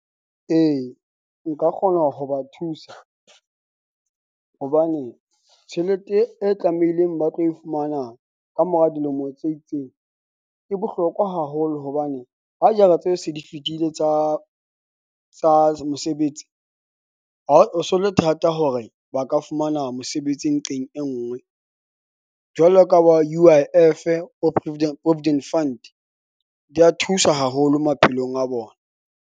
E, nka kgona ho ba thusa hobane tjhelete e, e tlameileng ba tlo e fumana kamora dilemo tse itseng. E bohlokwa haholo hobane ha jara tse se di fetile tsa tsa mosebetsi, ha o so le thata hore ba ka fumana mosebetsi nqeng e nngwe jwalo ka bo U_I_F-e, bo provident provident fund. Di ya thusa haholo maphelong a bona.